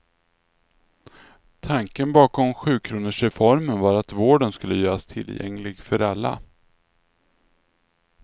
Tanken bakom sjukronorsreformen var att vården skulle göras tillgänglig för alla.